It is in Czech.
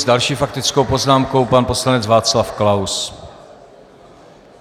S další faktickou poznámkou, pan poslanec Václav Klaus.